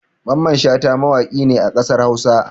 Mamman Shata mawaƙi ne a ƙasar Hausa